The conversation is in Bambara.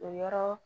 O yɔrɔ